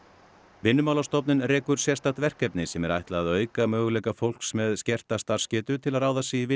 Vinnumálastofnun rekur sérstakt verkefni sem er ætlað að auka möguleika fólks með skerta starfsgetu til að ráða sig í vinnu